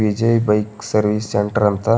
Vijay bike service centre ಅಂತ--